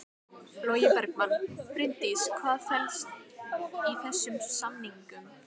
Logi Bergmann: Bryndís hvað felst í þessum samningum?